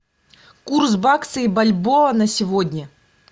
курс бакса и бальбоа на сегодня